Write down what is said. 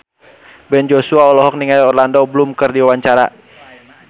Ben Joshua olohok ningali Orlando Bloom keur diwawancara